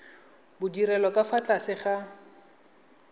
bodirelo ka fa tlase ga